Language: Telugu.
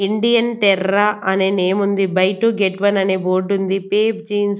ఇండియన్ టెర్రా అనే నేమ్ ఉంది బై టు గెట్ వన్ అనే బోర్డ్ ఉంది. Pepe Jeans --